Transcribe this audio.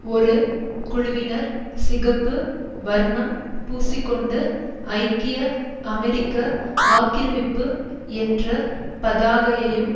ஒரு குழுவினர் சிகப்பு வர்ணம் பூசிக்கொண்டு ஐக்கிய அமெரிக்க ஆக்கிரமிப்பு என்ற பதாகையையும்